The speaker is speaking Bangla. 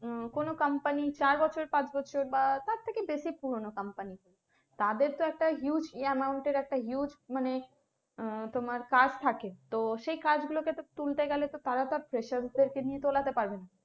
উম কোনো company চার বছর পাঁচ বছর বা তার থেকে বেশি পুরনো company তাদের তো একটা huge amount এর একটা huge মানে আহ তোমার কাজ থাকে তো সেই কাজ গুলোকে তো তুলতে গেলে তো তারা তো fresher দেরকে নিয়ে তোলাতে পারবেনা।